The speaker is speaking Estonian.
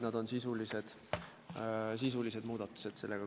Aitäh!